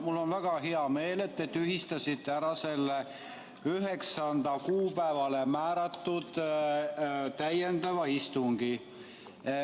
Mul on väga hea meel, et te tühistasite selle 9. kuupäevale määratud täiendava istungi.